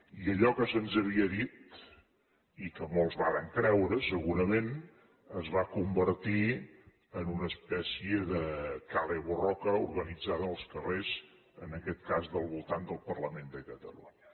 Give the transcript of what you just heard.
i allò que se’ns havia dit i que molts varen creure segurament es va convertir en una espècie de kale borroka organitzada en els carrers en aquest cas del voltant del parlament de catalunya